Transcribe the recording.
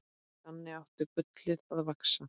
Þannig átti gullið að vaxa.